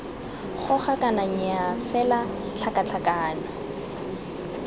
goga kana nnyaa fela tlhakatlhakano